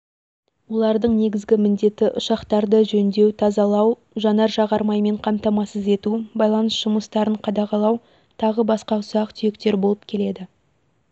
олардың негізгі міндеті ұшақтарды жөндеу тазалау жанар-жағармаймен қамтамасыз ету байланыс жұмыстарын қадағалау тағы басқа ұсақ-түйектер болып келеді